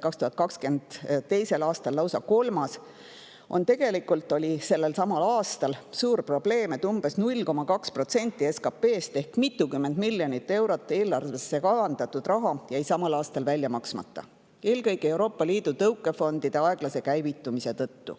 2022. aastal lausa kolmas, oli tegelikult suur probleem, et umbes 0,2% SKT-st ehk mitukümmend miljonit eurot eelarvesse kavandatud raha jäi samal aastal välja maksmata, eelkõige Euroopa Liidu tõukefondide aeglase käivitumise tõttu.